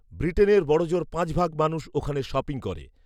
বৃটেনের বড়জোড় পাঁচভাগ মানুষ ওখানে শপিং করে